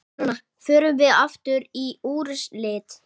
Förum við aftur í úrslit?